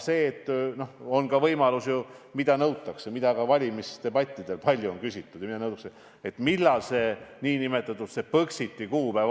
Üks asi, mida nõutakse ja mille kohta ka valimisdebattidel on palju küsitud, on see, millal toimub Põxit.